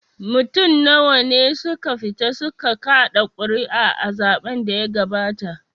Mutum nawa ne suka fita su ka kaɗa ƙuri'a a zaɓen da ya gabata?